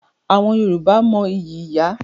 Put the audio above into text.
Àwọn Yorùbá mo ìyí ìyá.